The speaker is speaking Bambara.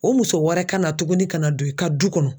O muso wɛrɛ ka na tugunni ka na don i ka du kɔnɔ.